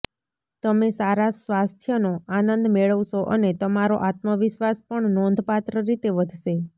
તમે સારા સ્વાસ્થ્યનો આનંદ મેળવશો અને તમારો આત્મવિશ્વાસ પણ નોંધપાત્ર રીતે વધશે